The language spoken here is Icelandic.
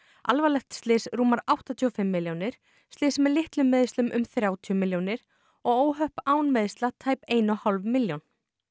alvarlegt slys rúmar áttatíu og fimm milljónir slys með litlum meiðslum um þrjátíu milljónir og óhöpp án meiðsla tæp ein og hálf milljón